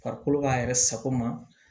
Farikolo b'a yɛrɛ sago ma